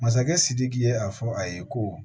Masakɛ sidiki ye a fɔ a ye ko